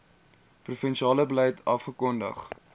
provinsiale beleid afgekondig